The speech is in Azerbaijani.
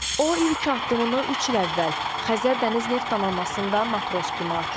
O ilk addımını üç il əvvəl Xəzər Dəniz Neft Donanmasında matros kimi atıb.